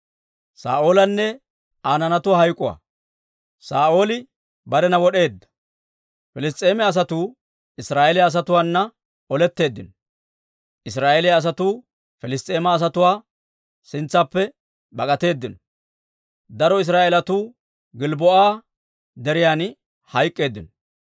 Piliss's'eema asatuu Israa'eeliyaa asatuwaana oletteeddino; Israa'eeliyaa asatuu Piliss's'eema asatuwaa sintsaappe bak'atteedino; daro Israa'eelatuu Gilbboo'a Deriyan hayk'k'eeddino.